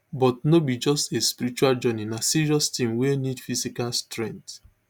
but no be just a spiritual journey na serious tin wey need physical strength